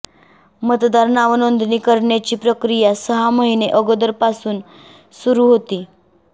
मतदार नावनोंदणी करण्याची प्रक्रिया सहा महिने अगोदरपासून सुरु होती